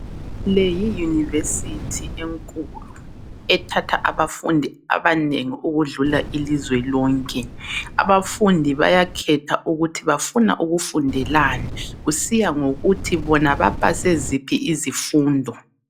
Le yi university enkulu ethatha abafundi abanengi ukudlula ilizwe lonke , abafundi bayakhetha ukuthi bafuna ukufundelani kusiya ngokuthi bona bapase ziphi izifundo